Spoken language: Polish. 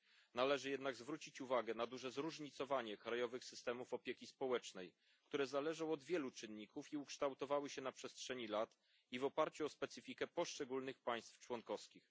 Należy jednak zwrócić uwagę na duże zróżnicowanie krajowych systemów opieki społecznej, które zależą od wielu czynników i ukształtowały się na przestrzeni lat i w oparciu o specyfikę poszczególnych państw członkowskich.